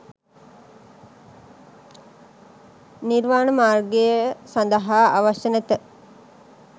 නිර්වාන මාර්ගය සදහා අවශ්‍ය නැත.